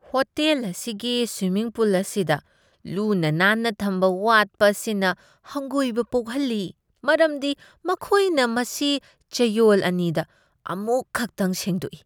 Hotel ꯑꯁꯤꯒꯤ swimming pool ꯑꯁꯤꯗ ꯂꯨꯅꯥ ꯅꯥꯟꯅ ꯊꯝꯕ ꯋꯥꯠꯄ ꯑꯁꯤꯅ ꯍꯪꯒꯣꯏꯕ ꯄꯣꯛꯍꯜꯂꯤ ꯃꯔꯝꯗꯤ ꯃꯈꯣꯏꯅ ꯃꯁꯤ ꯆꯌꯣꯜ ꯑꯅꯤꯗ ꯑꯃꯨꯛꯈꯛꯇꯪ ꯁꯦꯡꯗꯣꯛꯏ ꯫